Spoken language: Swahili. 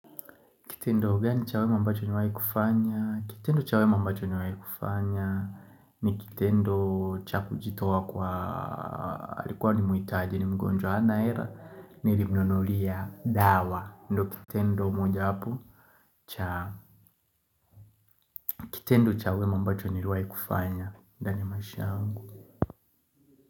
Kitendo gani cha wema mbacho nimewai kufanya. Kitendo chawe mambacho ni wai kufanya. Ni kitendo cha kujitoa kwa alikuwa ni mhitaji ni mgonjwa hana hela. Niilimnunulia dawa. Ndio kitendo moja wapo cha. Kitendo cha wema ambacho niliwai kufanya. Ndani ya maisha yangu.